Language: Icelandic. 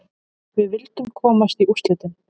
Við vildum komast í úrslitin.